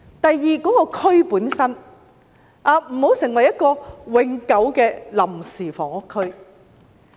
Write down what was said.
第二，該區本身不要成為永久的臨時房屋區。